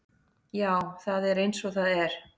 Já, það er eins og það er.